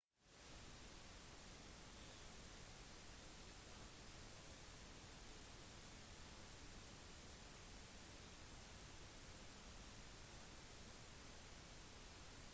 de tyske ubåtene ble kalt u-boats tyskerne var svært flink navigering og betjening av ubåtene